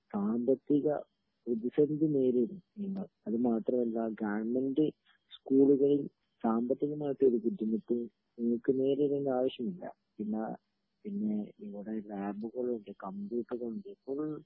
സാമ്പത്തിക പ്രതിസന്ധി നേരിടും നിങ്ങൾ അത് മാത്രവുമല്ല ഗവേൺമെന്റ് സ്കൂളുകളിൽ സാമ്പത്തികമായി ഒരു ബുദ്ധിമുട്ടും നിങ്ങൾക്ക് നേരിടേണ്ട ആവശ്യമില്ല പിന്നെ പിന്നെ ഇവിടെ ലാബുകളുണ്ട് കമ്പ്യൂട്ടറുകൾ ഉണ്ട് ഫുൾ